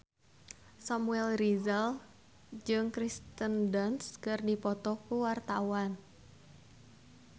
Samuel Rizal jeung Kirsten Dunst keur dipoto ku wartawan